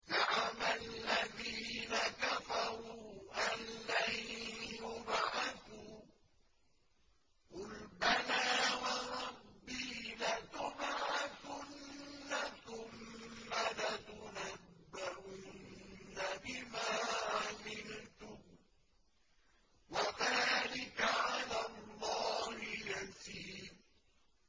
زَعَمَ الَّذِينَ كَفَرُوا أَن لَّن يُبْعَثُوا ۚ قُلْ بَلَىٰ وَرَبِّي لَتُبْعَثُنَّ ثُمَّ لَتُنَبَّؤُنَّ بِمَا عَمِلْتُمْ ۚ وَذَٰلِكَ عَلَى اللَّهِ يَسِيرٌ